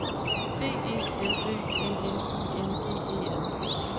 B E L Ø N N I N G E R